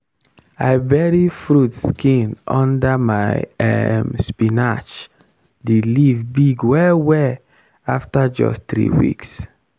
i bury fruit skin under my um spinach the leaf big well well after just three weeks.